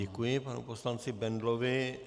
Děkuji panu poslanci Bendlovi.